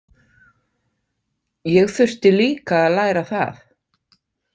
Ég þurfti líka að læra það.